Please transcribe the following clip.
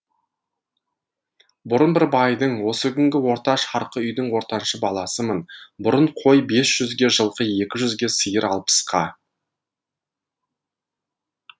бұрын бір байдың осы күнгі орта шарқы үйдің ортаншы баласымын бұрын кой бес жүзге жылқы екі жүзге сиыр алпыска